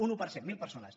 un un per cent mil persones